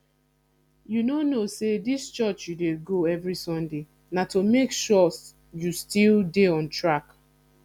you no know say dis church you dey go every sunday na to make sure you still dey on track